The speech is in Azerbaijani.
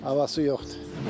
Havası yoxdur.